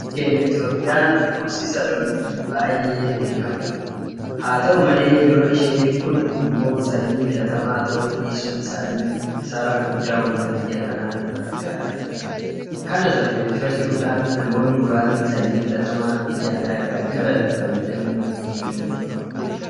Biyyi keenya Itoophiyaan horsiisa looniitiin baay'ee beekamtuudha. Haata'u malee Loon ishee kun immoo sanyii filatamaa ta'uu dhiisuun isaanii kisaaraa guddaa uummata biyya kanaa irraan gahaa jira. Kana sababeeffachuudhaan namoonni muraasni sanyii filatamaa biyya alaa irraa galan fayyadamyuu eegalaniiru.